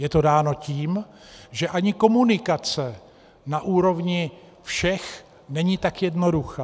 Je to dáno tím, že ani komunikace na úrovni všech není tak jednoduchá.